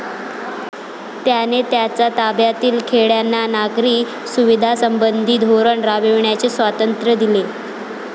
त्याने त्याच्या ताब्यातील खेड्यांना नागरी सुविधांसंबंधी धोरण राबविण्याचे स्वातंत्र्य दिले.